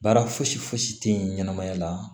Baara fosi fosi tɛ ye ɲɛnɛmaya la